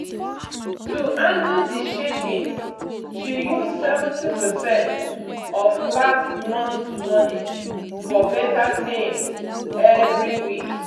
to handle the shakings she use seventy percentage of last month money for beta things every week.